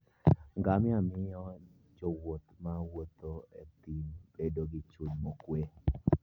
Ngamia miyo jowuoth ma wuotho e thim bedo gi chuny mokuwe.